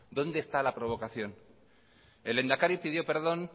dónde está la provocación el lehendakari pidió perdón